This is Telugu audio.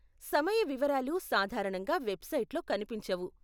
సమయ వివరాలు సాధారణంగా వెబ్సైట్లో కనిపించవు.